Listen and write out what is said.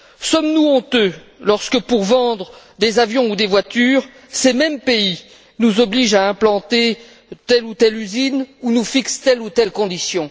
Sommes nous honteux lorsque, pour vendre des avions ou des voitures, ces mêmes pays nous obligent à implanter telle ou telle usine ou nous fixent telle ou telle condition?